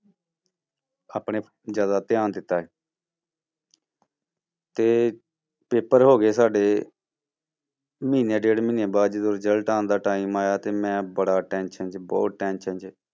ਆਪਣੇ ਜ਼ਿਆਦਾ ਧਿਆਨ ਦਿੱਤਾ ਤੇ ਪੇਪਰ ਹੋ ਗਏ ਸਾਡੇ ਮਹੀਨੇ ਡੇਢ ਮਹੀਨੇ ਬਾਅਦ ਜਦੋਂ result ਆਉਣ ਦਾ time ਆਇਆ ਤੇ ਮੈਂ ਬੜਾ tension 'ਚ ਬਹੁਤ tension 'ਚ।